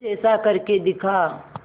कुछ ऐसा करके दिखा